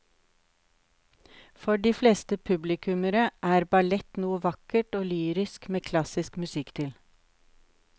For de fleste publikummere er ballett noe vakkert og lyrisk med klassisk musikk til.